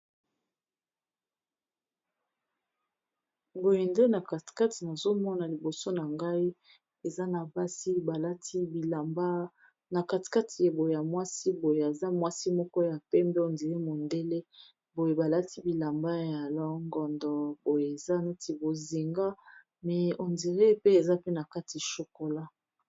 boye nde na katikati nazomona liboso na ngai eza na basi balati bilambana katikati ebo ya mwasi boye aza mwasi moko ya pembe ondiri mondele boye balati bilamba ya longondo boye eza neti bozinga me ondire pe eza pe na kati chokola